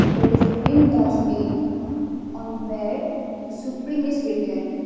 here is a green dustbin on where supreme is written.